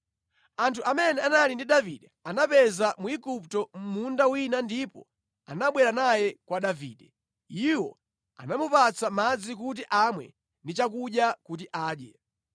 Anthu amene anali ndi Davide anapeza Mwigupto mʼmunda wina ndipo anabwera naye kwa Davide. Iwo anamupatsa madzi kuti amwe ndi chakudya kuti adye.